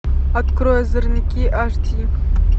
открой озорники аш ди